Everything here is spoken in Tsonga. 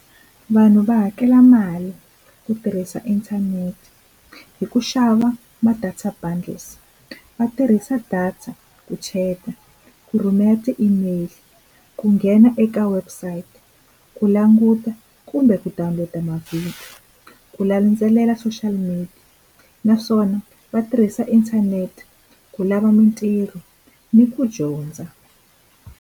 Vanhu va hakela mali ku tirhisa inthanete, hi ku xava ma-data bundles. Va tirhisa data ku chat-a, ku rhumela ti-email, ku nghena eka website, ku languta kumbe ku tumbeta mavhidiyo, ku landzelela social media. Naswona va tirhisa inthanete ku lava mintirho, ni ku dyondza.